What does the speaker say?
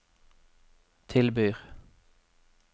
tilbyr